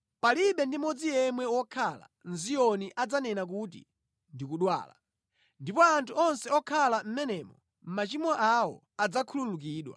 Palibe ndi mmodzi yemwe wokhala mʼZiyoni adzanene kuti, “Ndikudwala” ndipo anthu onse okhala mʼmenemo machimo awo adzakhululukidwa.